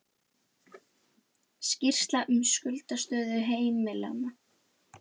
Skýrsla um skuldastöðu heimilanna